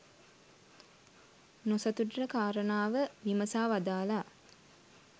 නොසතුටට කාරණාව විමසා වදාළා.